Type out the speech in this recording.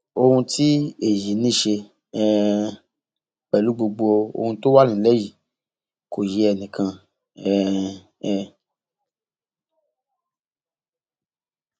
ohun tí èyí ní í ṣe um pẹlú gbogbo ohun tó wà nílẹ yìí kò yé ẹnì kan um